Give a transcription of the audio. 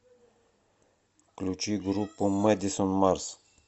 включи группу мэдисон марс